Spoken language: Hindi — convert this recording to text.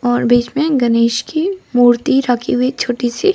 और बीच में गणेश की मूर्ति रखी हुई छोटी सी।